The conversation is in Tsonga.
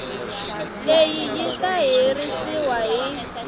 leyi yi ta herisiwa hi